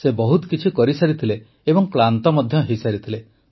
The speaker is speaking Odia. ସେ ବହୁତ କିଛି କରିସାରିଥିଲେ ଏବଂ କ୍ଳାନ୍ତ ମଧ୍ୟ ହୋଇସାରିଥିଲେ